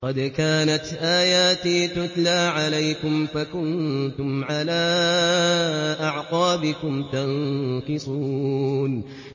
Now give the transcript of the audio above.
قَدْ كَانَتْ آيَاتِي تُتْلَىٰ عَلَيْكُمْ فَكُنتُمْ عَلَىٰ أَعْقَابِكُمْ تَنكِصُونَ